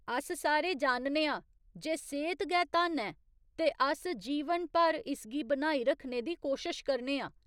अस सारे जानने आं जे सेह्त गै धन ऐ, ते अस जीवन भर इसगी बनाई रक्खने दी कोशश करने आं।